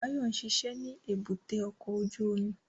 Báyọ̀ ń ṣiṣẹ́ ní èbúté ọkọ̀ ojú omi